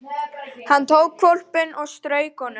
Hann tók hvolpinn upp og strauk honum.